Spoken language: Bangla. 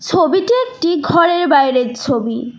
ছবিটি একটি ঘরের বাইরের ছবি।